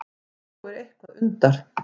Þó er eitthvað undar